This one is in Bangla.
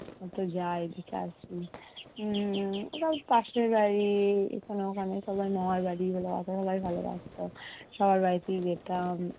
পাশে বাড়ি এখানে ওখানে মামার বাড়ি বলো সবাই ভালো বাসতো, সবার বাড়িতেই যেতাম উম